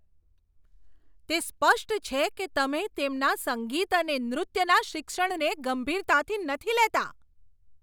તે સ્પષ્ટ છે કે તમે તેમના સંગીત અને નૃત્યના શિક્ષણને ગંભીરતાથી નથી લેતા.